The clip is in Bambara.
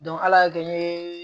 ala y'a kɛ n ye